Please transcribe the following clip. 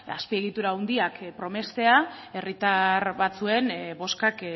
azpiegitura handiak promestea herritar batzuen boskak